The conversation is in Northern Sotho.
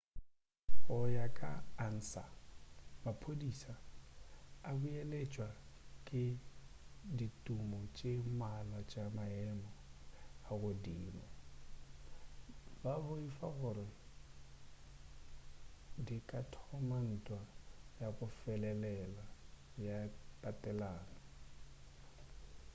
go ya ka ansa maphodisa a belaetšwa ke ditumo tše mmalwa tša maemo a godimo ba boifa gore di ka thoma ntwa ya go felelela ya tatelano